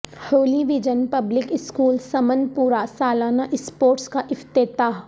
Holi vision public school Sumanpora سالانہ sports کا افتتاح